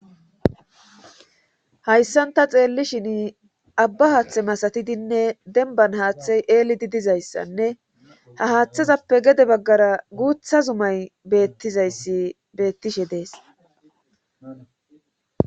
Hayssanta xeelli shin abba haaththe masatidinne denban haaththey eelidi dizayssanne ha haaththezappe gede baggara guutha zumay bettizayssi beettishe dees.